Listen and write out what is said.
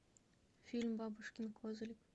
фильм бабушкин козлик